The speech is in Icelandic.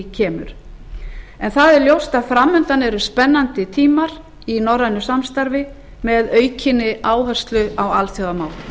kemur ljóst er að framundan eru spennandi tímar í norrænu samstarfi með aukinni áherslu á alþjóðamál